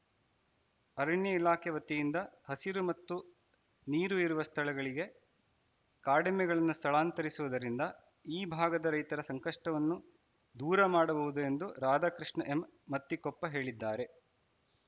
ಅರಣ್ಯ ಇಲಾಖೆ ವತಿಯಿಂದ ಹಸಿರು ಮತ್ತು ನೀರು ಇರುವ ಸ್ಥಳಗಳಿಗೆ ಕಾಡೆಮ್ಮೆಗಳನ್ನು ಸ್ಥಳಾಂತರಿಸುವುದರಿಂದ ಈ ಭಾಗದ ರೈತರ ಸಂಕಷ್ಟವನ್ನು ದೂರ ಮಾಡಬಹುದು ಎಂದು ರಾಧಾಕೃಷ್ಣ ಎಮ್‌ ಮತ್ತಿಕೊಪ್ಪ ಹೇಳಿದ್ದಾರೆ